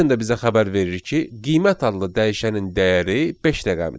Pythonda bizə xəbər verir ki, qiymət adlı dəyişənin dəyəri beş rəqəmidir.